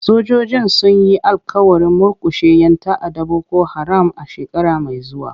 Sojojin sun yi alƙawarin murkushe 'yan ta'addar Boko Haram a shekara mai zuwa.